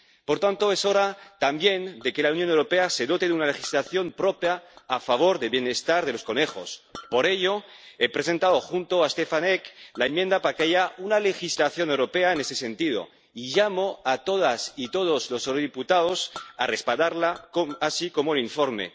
Por tanto, es hora, también, de que la Unión Europea se dote de una legislación propia a favor del bienestar de los conejos. Por ello, he presentado, junto con Stefan Eck, la enmienda para que haya una legislación europea en ese sentido, y llamo a todas y todos los eurodiputados a respaldarla, así como el informe.